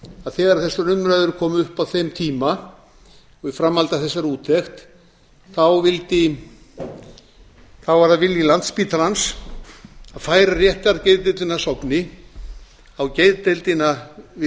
að þegar þessar umræður komu upp á þeim tíma og í framhaldi af þessari úttekt var það vilji landspítalans að færa réttargeðdeildina að sogni á geðdeildina við